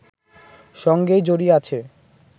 সঙ্গেই জড়িয়ে আছে